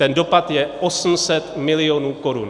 Ten dopad je 800 milionů korun.